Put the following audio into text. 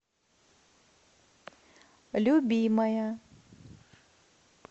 любимая